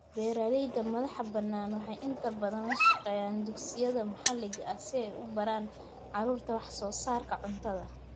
Beeralayda madaxa bannaan waxay inta badan la shaqeeyaan dugsiyada maxalliga ah si ay u baraan carruurta wax soo saarka cuntada.